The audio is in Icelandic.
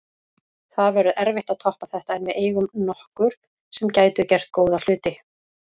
Það verður erfitt að toppa þetta en við eigum nokkur sem gætu gert góða hluti.